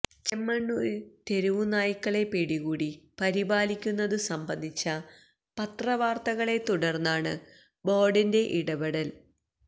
ചെമ്മണൂര് തെരുവുനായ്ക്കളെ പിടികൂടി പരിപാലിക്കുന്നതു സംബന്ധിച്ച പത്രവാര്ത്തകളെ തുടര്ന്നാണ് ബോര്ഡിന്റെ ഇടപെടല്